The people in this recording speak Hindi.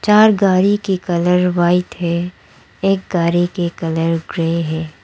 चार गाड़ी के कलर व्हाइट है एक गाड़ी के कलर ग्रे है।